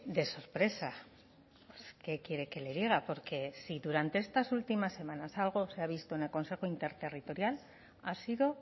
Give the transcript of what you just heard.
de sorpresa qué quiere que le diga porque si durante estas últimas semanas algo se ha visto en el consejo interterritorial ha sido